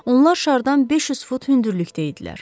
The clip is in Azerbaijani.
Onlar şardan 500 fut hündürlükdə idilər.